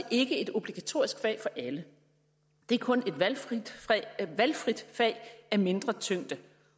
et obligatorisk fag for alle det er kun et valgfrit fag af mindre tyngde